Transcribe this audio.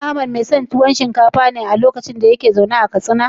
Shin Ahmad mai son tuwo shinkafa ne lokacin da yake zaune a Katsina?